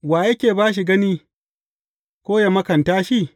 Wa yake ba shi gani ko yă makanta shi?